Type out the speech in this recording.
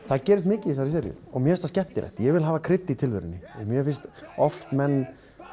það gerist mikið í þessari seríu mér finnst það skemmtilegt ég vil hafa krydd í tilverunni mér finnst oft menn